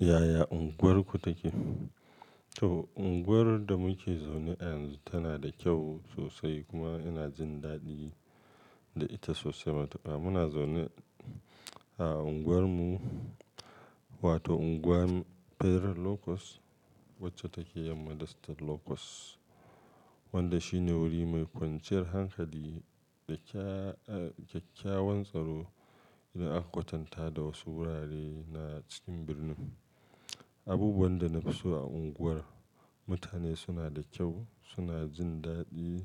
Yaya unguwarku take? To, unguwar da muke zaune ayanzu tana da kyau sosai kuma ina jin daɗi da ita sosai matuka. Muna zaune a unguwarmu wato unguwar Fair Locos wacce take yanma da state Locos wanda shine wuri mai kwanciyar hankali da kyakykyawan tsaro idan aka kwatanta da wasu wurare na cikin birnin. Abubuwan da na fi so a unguwar, mutane suna da kyau, suna jin daɗi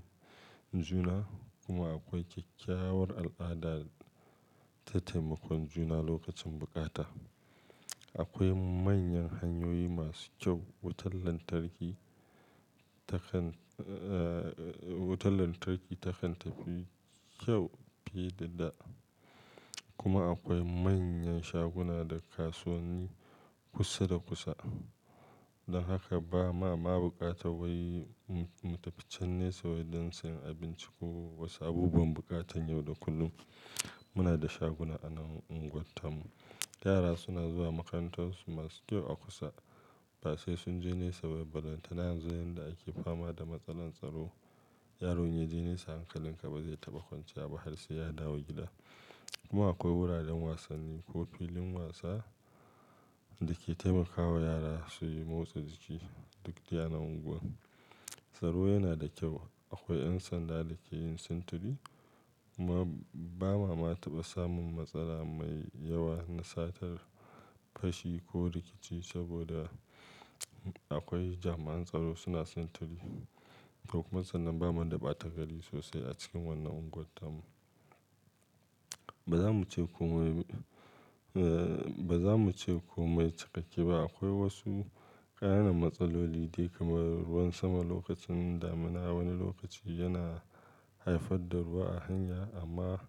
juna kuma akwai kyakykyawar al'ada ta taimakon juna lokacin bukata. Akwai manyan hanyoyi masu kyau, wutar lantarki takan, eh, wutar lantarki takan tafi kyau fiye da dama kuma akwai manyan shaguna da kasuwanni kusa da kusa. Don haka ba ma ma bukata wai mu tafi can nesa don siyan abinci ko wasu abubuwan buƙatan yau da kullum. Muna da shaguna a nan unguwarta mu. Yara suna zuwa makarantarsu masu kyau a kusa. Ba sai sun je nesa ba, Balantane yanzu yanda ake fama da matsalar tsaro, yaro inya je nesa hankalin ka ba zai taɓa kwanciya ba har sai ya dawo gida. Kuma akwai wuraren wasanni ko filin wasa da ke taimakawa yara su yi motsa jiki duk de a nan unguwar. Tsaro yana da kyau. Akwai 'yan sanda da ke yin sintiri kuma ba ma ma taɓa samun matsala mai yawa na satar fashi ko rikici saboda akwai jami'an tsaro suna sintiri. Kokuma sannan bamu da ɓata gari sosai a cikin wannan unguwar mu. Ba za mu ce kome, ba za mu ce kome cikakke ba. Akwai wasu ƙananan matsaloli dai kamar ruwan sama lokacin damuna. Wani lokaci yana haifar da ruwa a hanya amma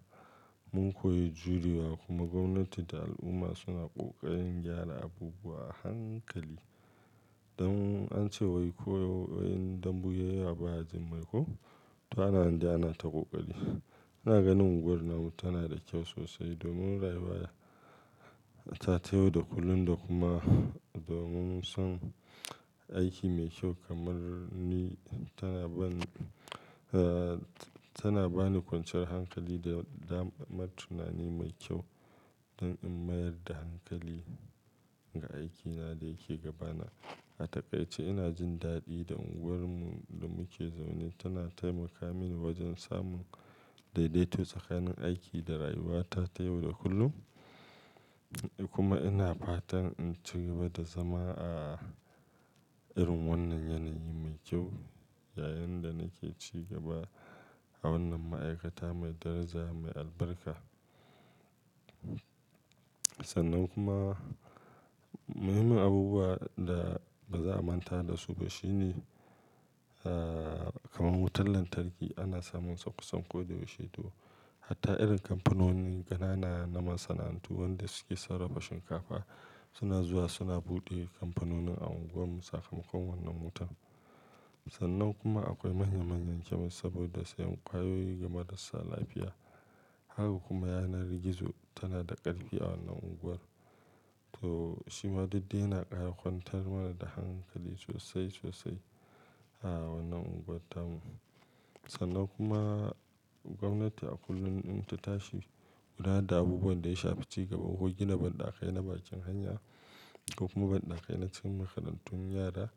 mun koyi jurewa kuma gwamnati da al'umma suna ƙoƙarin gyara abubuwa a hankali. Don an ce wai ko in dambu ya yiwa baya jin mai ko? To ana nande ana ta ƙoƙari. Ina ganin unguwarmu tana da kyau sosai domin rayuwa ta ta yau da kullum da kuma domin san aiki mai kyau kamar ni tana bani, tana bani kwanciyar hankali da damar tunani mai kyau don in mayar da hankali ga aikina da yake gabana. A takaice ina jin daɗi da unguwarmu da muke zaune. Tana taimaka mini wajen samun daidaito tsakanin aiki da rayuwata ta yau da kullum kuma ina fatan in ci gaba da zama a irin wannan yanayi mai kyau yayin da nake ci gaba a wannan ma'aikata mai daraja mai albarka. Sannan kuma muhimman abubuwa da ba za a manta da su ba shine, eh, kamar wutar lantarki ana samunsa kusan kodayaushe to. Hatta irin kampanoni ƙanana na masana'antu wanda suke sarrafa shinkafa suna zuwa suna buɗe kampanoni a unguwarmu sakamakon wannan wutar. Sannan kuma akwai manya manyan kyamis saboda sayan ƙwayoyi ga marasa lafiya. Haka kuma yanar gizo tana da ƙarfi a wannan unguwar. To shi ma didde yana ƙara kwantar mana da hankali sosai sosai a wannan unguwar tamu. Sannan kuma gwamnati a kullum in ta tashi kula da abubuwan da ya sha fi ci gaba ko gina banɗakai na bakin hanya ko kuma banɗakai na cikin makarantun yara,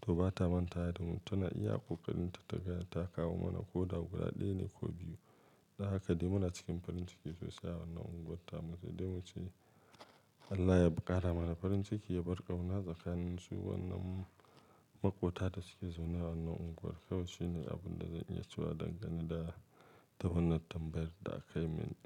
to ba ta mantawa da mu. Tana iya ƙoƙarinta ta ga ta kawo mana ko da guda ɗaya ne ko biyu. Da haka dai muna cikin farin ciki sosai a wannan unguwar tamu sai dai mu ce Allah ya ƙara mana farin ciki ya bar ƙauna tsakanin su wannan maƙwota da suke zaune a wannan unguwar. Kawai shi ne abin da zan iya cewa dangane da wannan tambayar da aka yi mini.